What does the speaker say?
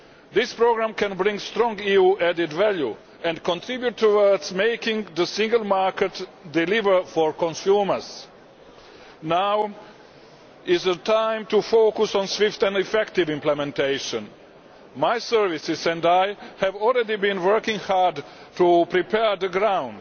This programme can bring strong EU added value and contribute towards making the single market deliver for consumers. Now is the time to focus on swift and effective implementation. My services and I have already been working hard to prepare the ground.